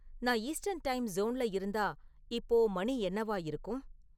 நான் eastern time சோன்ல இருந்தா இப்போ மணி என்னவா இருக்கும்